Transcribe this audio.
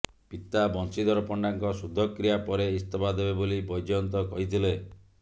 ପିତା ବଂଶୀଧର ପଣ୍ଡାଙ୍କ ଶୁଦ୍ଧକ୍ରୀୟା ପରେ ଇସ୍ତଫା ଦେବେ ବୋଲି ବ୘ଜୟନ୍ତ କହିଥିଲେ